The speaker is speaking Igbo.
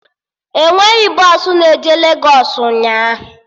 Enweghị bọsụ na-eje Legos ụnyaahụ